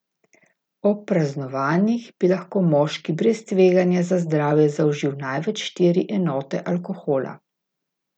Ob praznovanjih bi lahko moški brez tveganja za zdravje zaužil največ štiri enote alkohola.